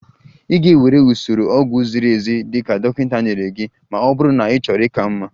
Ị ga-ewere usoro ọgwụgwọ ziri ezi dị ka dọkịta nyere gị ma ọ bụrụ na ịchọrọ ịka mma